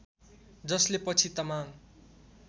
जसले पछि तामाङ